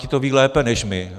Ti to vědí lépe než my.